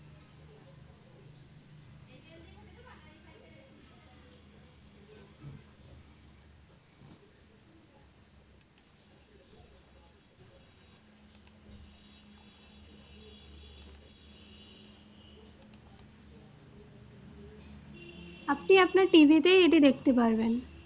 আপনি আপনার TV তেই এটি দেখতে পারবেন।